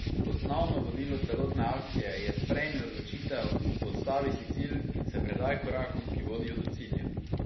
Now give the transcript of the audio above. Osnovno vodilo celotne akcije je Sprejmi odločitev, postavi si cilj in se predaj korakom, ki vodijo do cilja!